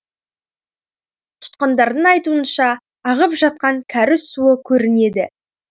тұтқындардың айтуынша ағып жатқан кәріз суы көрінеді